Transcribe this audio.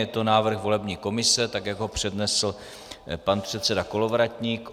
Je to návrh volební komise, tak jak ho přednesl pan předseda Kolovratník.